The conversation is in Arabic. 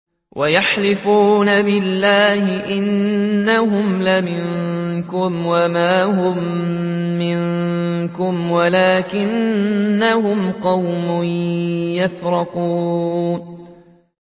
وَيَحْلِفُونَ بِاللَّهِ إِنَّهُمْ لَمِنكُمْ وَمَا هُم مِّنكُمْ وَلَٰكِنَّهُمْ قَوْمٌ يَفْرَقُونَ